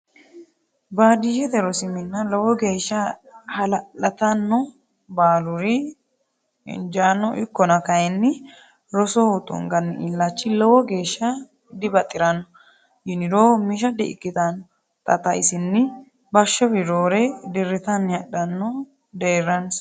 Baadiyyete rosi minna lowo geeshsha hala'lattano baaluri injano ikkonna kayinni rosoho tunganni illachi lowo geeshsha dibaxirano yiniro misha di'ikkittano, xa xa isinni bashowi roore diritanni hadhino deerransa.